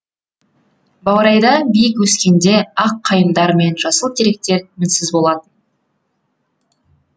баурайда биік өскенде ақ қайыңдар мен жасыл теректер мінсіз болатын